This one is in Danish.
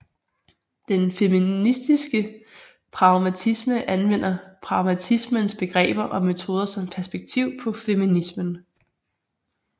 Den feministiske pragmatisme anvender pragmatismens begreber og metoder som perspektiv på feminismen